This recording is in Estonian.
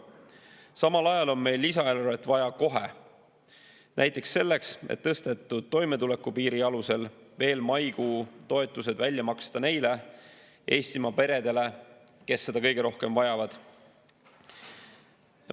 Samal ajal on meil lisaeelarvet vaja kohe, näiteks selleks, et tõstetud toimetulekupiiri alusel veel maikuu toetused välja maksta neile Eestimaa peredele, kes seda kõige rohkem vajavad.